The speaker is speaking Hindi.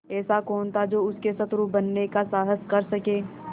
ऐसा कौन था जो उसको शत्रु बनाने का साहस कर सके